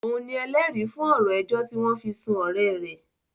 Òun ni ẹlẹ́rìí fún ọ̀rọ̀ ẹjọ́ tí wọ́n fi sún ọ̀rẹ́ rẹ̀